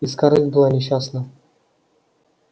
и скарлетт была несчастна